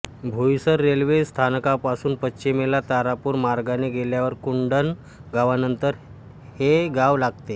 Boisar railway स्थानकापासून पश्चिमेला तारापूर मार्गाने गेल्यावर कुडण गावानंतर हे गाव लागते